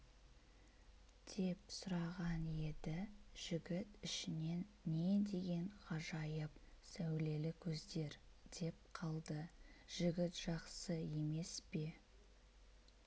деп сұраған еді жігіт ішінен не деген ғажайып сәулелі көздер деп қалды жігіт жақсы емес пе